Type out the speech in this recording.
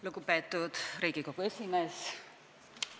Lugupeetud Riigikogu esimees!